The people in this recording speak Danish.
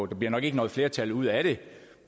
der nok ikke noget flertal ud af det